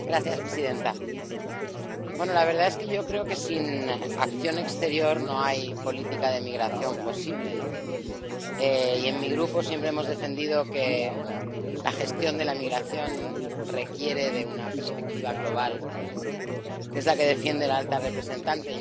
Señora presidenta, la verdad es que yo creo que sin acción exterior no hay política de migración posible, y en mi Grupo siempre hemos defendido que la gestión de la migración requiere de una perspectiva global, que es la que defiende la alta representante.